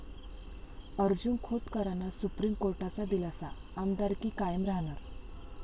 अर्जुन खोतकरांना सुप्रीम कोर्टाचा दिलासा, आमदारकी कायम राहणार